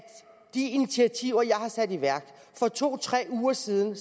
de initiativer jeg har sat i værk for to tre uger siden